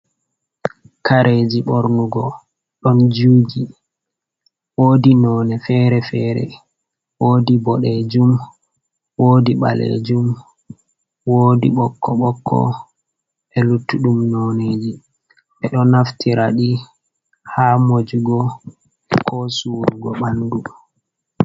Kareeji ɓornugo ɗon juji woodi none fere-fere woodi boɗejum, woodi ɓalejum, woodi bokko bokko be luttuɗum noneji, ɓe ɗo naftiraɗi ha mojugo ko sawurgo ɓandu.